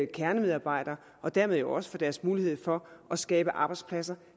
kernemedarbejdere og dermed jo også for deres mulighed for at skabe arbejdspladser